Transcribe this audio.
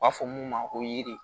U b'a fɔ mun ma ko yiri